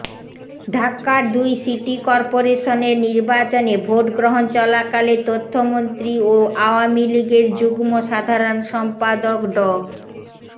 ঢাকার দুই সিটি করপোরেশনের নির্বাচনে ভোটগ্রহণ চলাকালে তথ্যমন্ত্রী ও আওয়ামী লীগের যুগ্ম সাধারণ সম্পাদক ড